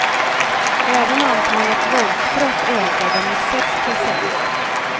Även antalet våldsbrott ökade, med sex procent.